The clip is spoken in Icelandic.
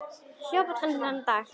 Ég hljóp allan þennan dag.